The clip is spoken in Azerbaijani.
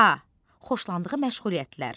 A. xoşlandığı məşğuliyyətlər.